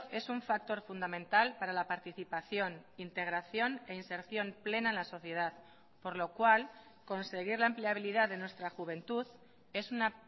es un factor fundamental para la participación integración e inserción plena en la sociedad por lo cual conseguir la empleabilidad de nuestra juventud es una